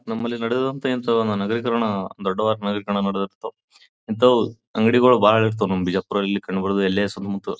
ನಮ್ಮಲ್ಲಿ ನಡೆದಂತಹ ಇಂತಹ ಒಂದು ನಗರೀಕರಣ ದೊಡ್ಡದಂತಹ ನಗರೀಕರಣ ನಡೆದಿರತ ಇಂತವು ಅಂಗಡಿಗಳು ಬಾಳ ಇರ್ತವೇ ನಮ್ಮ ಬಿಜಾಪುರ ಎಲ್ಲ್ಯಾಸಿ ಮತ್--